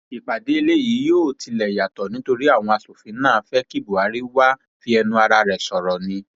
ìpàdé eléyìí yóò tilẹ yàtọ nítorí àwọn asòfin náà fẹ kí buhari wàá fi ẹnu ara rẹ sọrọ ni